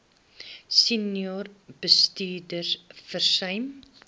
senior bestuurders versuim